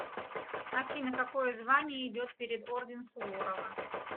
афина какое звание идет перед орден суворова